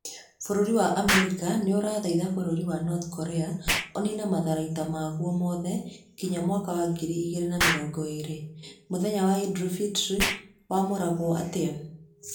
Bũrũri wa Amerika nĩ ũrathaitha Bũrũri wa North Korea ũniine matharaita maguo mothe kinya mwaka wa ngiri igĩrĩ na mĩrongo ĩĩrĩ. Mũthenya wa Eid ul-fitr wamũraguo atĩa?